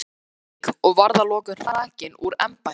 Reykjavík, og var að lokum hrakinn úr embætti.